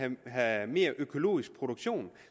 have mere økologisk produktion